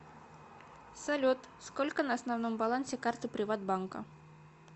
салют сколько на основном балансе карты приват банка